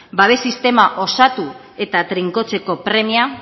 babes sistema osatu eta trinkotzeko premia